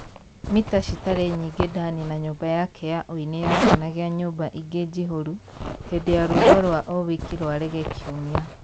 Mita citarĩ nyingĩ Dani na nyũmba yake ya ũini yakenagia nyũmba ingĩ njihũru hĩndĩ ya rwĩmbo rwa o wiki rwa rege kiumia.